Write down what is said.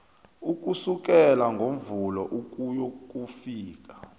ukusukela ngomvulo ukuyokufika